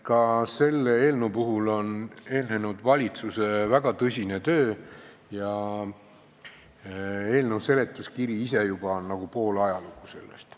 Ka selle eelnõu puhul on eelnenud valitsuse väga tõsine töö ja eelnõu seletuskiri ise on juba nagu pool ajalugu sellest.